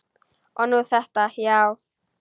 Og nú þetta, já.